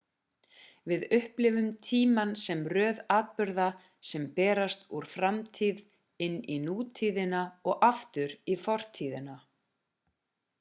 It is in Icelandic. við upplifum tímann sem röð atburða sem berast úr framtíðinn inn í nútíðina og aftur í fortíðina